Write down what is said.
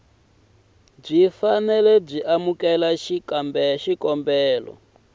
byi fanele byi amukela xikombelo